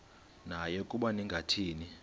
naye ukuba ningathini